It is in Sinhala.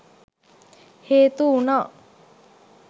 හේතු වුණා.